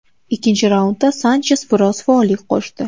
Ikkinchi raundda Sanches biroz faollik qo‘shdi.